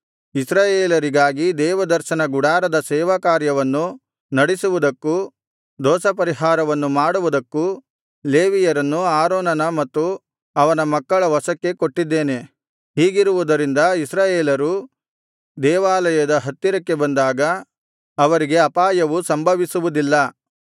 ಇಸ್ರಾಯೇಲರಿಗಾಗಿ ದೇವದರ್ಶನ ಗುಡಾರದ ಸೇವಾಕಾರ್ಯವನ್ನು ನಡಿಸುವುದಕ್ಕೂ ದೋಷಪರಿಹಾರವನ್ನು ಮಾಡುವುದಕ್ಕೂ ಲೇವಿಯರನ್ನು ಆರೋನನ ಮತ್ತು ಅವನ ಮಕ್ಕಳ ವಶಕ್ಕೆ ಕೊಟ್ಟಿದ್ದೇನೆ ಹೀಗಿರುವುದರಿಂದ ಇಸ್ರಾಯೇಲರು ದೇವಾಲಯದ ಹತ್ತಿರಕ್ಕೆ ಬಂದಾಗ ಅವರಿಗೆ ಅಪಾಯವು ಸಂಭವಿಸುವುದಿಲ್ಲ